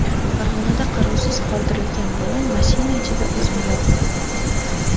Farg‘onada qarovsiz qoldirilgan bola mashina ichida o‘zini yoqib yubordi.